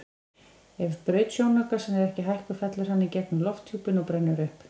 Ef braut sjónaukans er ekki hækkuð fellur hann í gegnum lofthjúpinn og brennur upp.